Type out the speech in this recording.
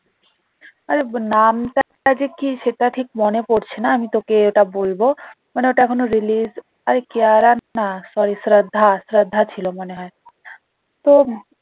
আরে নামটা একটা যে কি সেটা ঠিক মনে পড়ছে না আমি তোকে ওটা বলবো মানে ওটা এখনো release আরে কিয়ারা না sorry শ্রদ্ধা শ্রদ্ধা ছিল মনে হয় তো